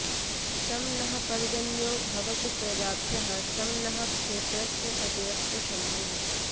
शं नः पर्जन्यो भवतु प्रजाभ्यः शं नः क्षेत्रस्य पतिरस्तु शम्भुः